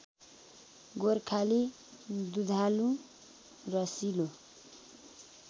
गोर्खाली दुधालु रसिलो